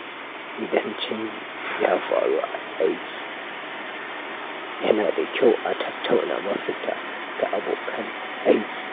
Idan canji ya faru a aiki, yana da kyau a tattauna mafita da abokan aiki.